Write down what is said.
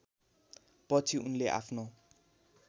पछि उनले आफ्नो